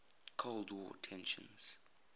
cold war tensions